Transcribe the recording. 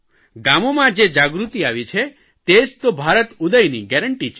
ગામોમાં જે જાગૃતિ આવી છે તે જ તો ભારત ઉદયની ગેરંટી છે